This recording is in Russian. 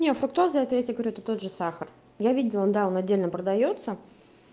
не фруктоза это я тебе говорю тот же сахар я видела да он отдельно продаётся